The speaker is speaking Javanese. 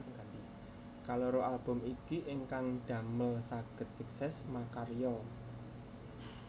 Kaloro album iki ingkang damel sagéd sukses makarya